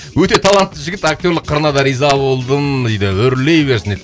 өте талантты жігіт актерлік қырына да риза болдым дейді өрлей берсін дейді